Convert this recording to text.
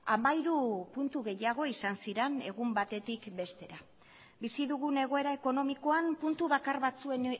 hamairu puntu gehiago izan ziren egun batetik bestera bizi dugun egoera ekonomikoan puntu bakar batzuen